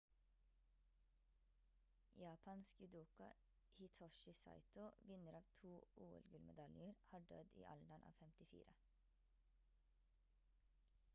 japansk judoka hitoshi saito vinner av to ol-gullmedaljer har dødd i alderen av 54